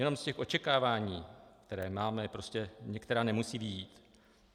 Jenom z těch očekávání, které máme, prostě některá nemusí vyjít.